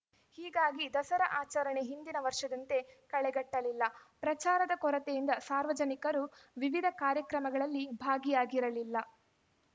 ಹೀಗಾಗಿ ದಸರಾ ಆಚರಣೆ ಹಿಂದಿನ ವರ್ಷದಂತೆ ಕಳೆಗಟ್ಟಲಿಲ್ಲ ಪ್ರಚಾರದ ಕೊರತೆಯಿಂದ ಸಾರ್ವಜನಿಕರೂ ವಿವಿಧ ಕಾರ್ಯಕ್ರಮಗಳಲ್ಲಿ ಭಾಗಿಯಾಗಿರಲಿಲ್ಲ